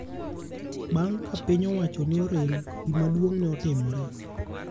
Bang ka piny owach ne orem, gima duong ne otimore.